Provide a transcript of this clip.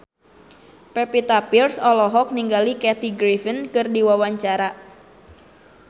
Pevita Pearce olohok ningali Kathy Griffin keur diwawancara